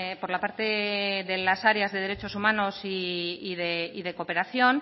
por la parte de las áreas de derechos humanos y de cooperación